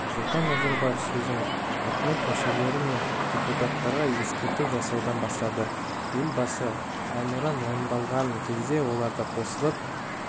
нұрсұлтан назарбаев сөзін үкімет мүшелері мен депутаттарға ескерту жасаудан бастады елбасы әнұран орындалған кезде олардың қосылып